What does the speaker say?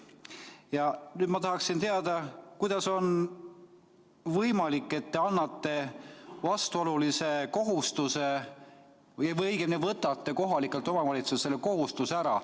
Ja nüüd ma tahaksin teada, kuidas on võimalik, et te annate vastuolulise kohustuse või õigemini võtate kohalikelt omavalitsustelt selle kohustuse ära.